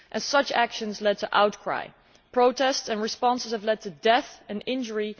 Such actions have led to outcry and protest, and responses have led to death and injury.